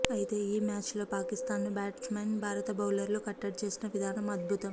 అయితే ఈ మ్యాచ్లో పాకిస్థాన్ను బ్యాట్స్మెన్ భారత బౌలర్లు కట్టడి చేసిన విధానం అద్భుతం